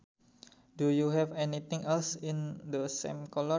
Do you have anything else in the same colour